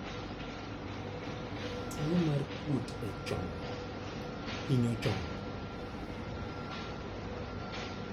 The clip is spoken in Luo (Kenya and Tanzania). Tuo mar kuot e chong' hinyo chong'